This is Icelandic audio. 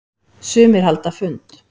Sumir halda fund.